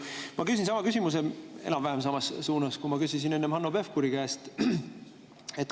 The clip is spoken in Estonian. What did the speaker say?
Ma küsin enam-vähem samas suunas, nagu ma küsisin enne Hanno Pevkuri käest.